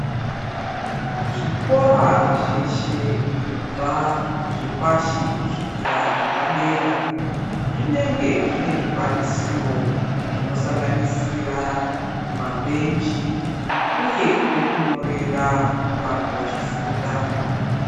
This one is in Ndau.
Zvikora zveshe kubva zvepashi kusvikira zvepadera zvinenge zvine zvikwanisiro zvinosanganisira mabhenji uye pekunyorera vantu vachifunda.